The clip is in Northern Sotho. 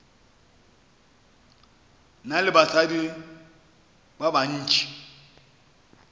na le basadi ba bantši